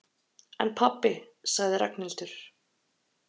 En pabbi sagði Ragnhildur.